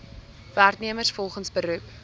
werknemers volgens beroep